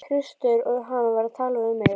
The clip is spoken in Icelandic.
Kristur og hann var að tala við mig.